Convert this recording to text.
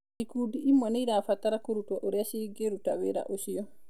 Ikundi imwe nĩ irabatara kũrutwo ũrĩa cigĩruta wĩra ũcio.